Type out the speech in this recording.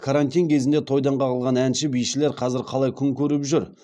карантин кезінде тойдан қағылған әнші бишілер қазір қалай күн көріп жүр